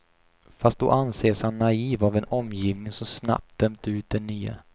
Fast då anses han naiv av en omgivning som snabbt dömt ut det nya.